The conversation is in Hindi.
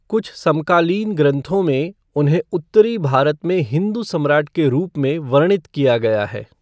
कुछ समकालीन ग्रँथों में, उन्हें उत्तरी भारत में हिंदू सम्राट के रूप में वर्णित किया गया है।